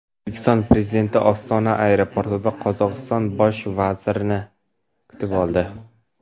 O‘zbekiston Prezidentini Ostona aeroportida Qozog‘iston bosh vaziri kutib oldi .